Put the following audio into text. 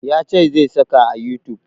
Ya ce zai saka a youtube